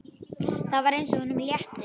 Það var eins og honum létti.